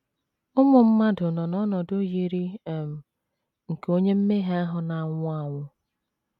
Ụmụ mmadụ nọ n’ọnọdụ yiri um nke onye mmehie ahụ na - anwụ anwụ.